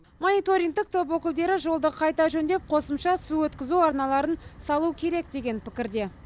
мониторингтік топ өкілдері жолды қайта жөңдеп қосымша су өткізу арналарын салу керек деген пікірде